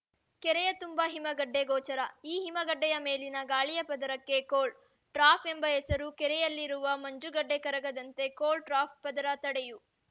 ಕೆರೆಯ ತುಂಬ ಹಿಮಗಡ್ಡೆ ಗೋಚರ ಈ ಹಿಮಗಡ್ಡೆಯ ಮೇಲಿನ ಗಾಳಿಯ ಪದರಕ್ಕೆ ಕೋಲ್ಡ್‌ ಟ್ರಾಪ್‌ ಎಂಬ ಹೆಸರು ಕೆರೆಯಲ್ಲಿರುವ ಮಂಜುಗಡ್ಡೆ ಕರಗದಂತೆ ಕೋಲ್ಡ್‌ ಟ್ರಾಪ್‌ ಪದರ ತಡೆಯು